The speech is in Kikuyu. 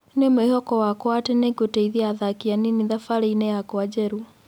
" Nĩ mwĩhoko wakwa atĩ nĩngũteithia athaki anini thabarĩini yakwa njerũ."